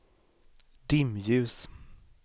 dimljus